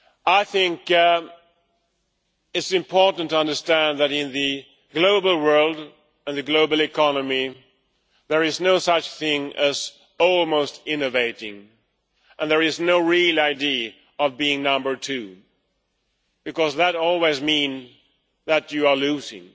I think it is important to understand that in the global world and the global economy, there is no such thing as almost innovating' and there is no real idea of being number two' because that always means that you are losing.